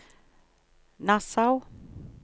Nassau